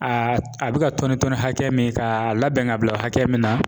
A a bɛ ka tɔni tɔni hakɛ min k'a labɛn k'a labɛn ka bila hakɛ min na